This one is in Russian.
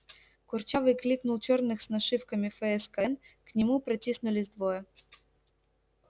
курчавый кликнул черных с нашивками фскн к нему протиснулись двое